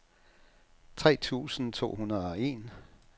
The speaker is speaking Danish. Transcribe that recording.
tre tusind to hundrede og en